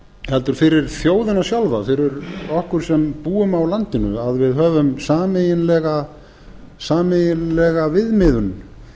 heldur fyrir þjóðina sjálfa fyrir okkur sem búum á landinu að við höfum sameiginlega viðmiðun